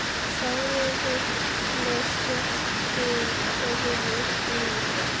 Sárið er með sléttu og hörðu yfirborði.